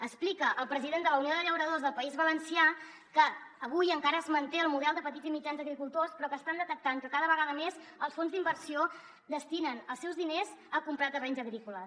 explica el president de la unió de llauradors del país valencià que avui encara es manté el model de petits i mitjans agricultors però que estan detectant que cada vegada més els fons d’inversió destinen els seus diners a comprar terrenys agrícoles